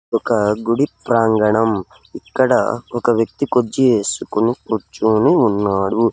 ఒక గుడి ప్రాంగణం ఇక్కడ ఒక వ్యక్తి కుర్జీ ఏసుకొని కుర్చొని ఉన్నాడు.